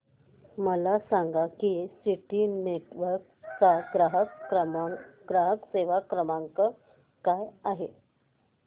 मला सांगा की सिटी नेटवर्क्स चा ग्राहक सेवा क्रमांक काय आहे